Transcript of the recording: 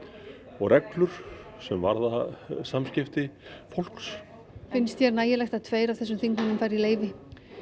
og reglur sem varða samskipti fólks finnst þér nægilegt að tveir af þessum þingmönnum fari í leyfi